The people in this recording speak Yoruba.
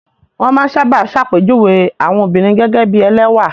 Wọ́n máa ń sábà ṣàpèjúwe àwọn obìnrin gẹ́gẹ́ bí ẹlẹ́wà.